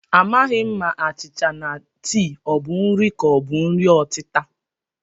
Amaghị m ma achịcha na tii ọ bụ nri ka ọ bụ nri ọtịta